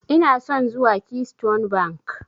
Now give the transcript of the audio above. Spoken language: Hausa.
Ina son zuwa Keystone Bank.